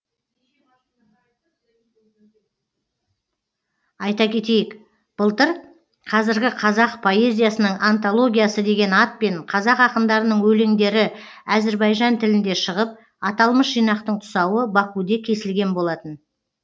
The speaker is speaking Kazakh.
айта кетейік былтыр қазіргі қазақ поэзиясының антологиясы деген атпен қазақ ақындарының өлеңдері әзірбайжан тілінде шығып аталмыш жинақтың тұсауы бакуде кесілген болатын